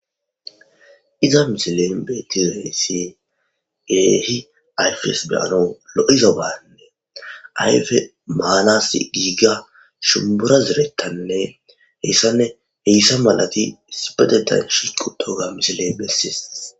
Iza misilen betiwessi geehi ayfes beyano lo'iza baanne ayfe maalass giiga shumbura zirettanne heyssanne heyssa malati sibedetan shiqutoga misile messis.